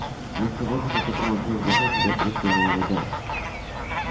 вместо воздуха которым он привык дышать в лёгкие хлынула вода